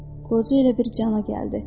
Qoca elə bir cana gəldi.